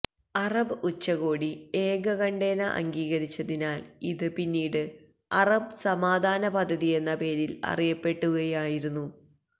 Arab ഉച്ചകോടി ഏകകണ്ഠേന അംഗീകരിച്ചതിനാല് ഇത് പിന്നീട് അറബ് സമാധാന പദ്ധതിയെന്ന പേരില് അറിയപ്പെടുകയായിരുന്നു